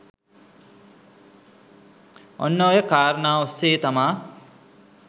ඔන්න ඔය කාරණා ඔස්සේ තමා